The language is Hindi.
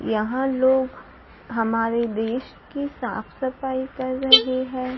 यहां लोग हमारे देश के साफ सफाई कर रहे हैं।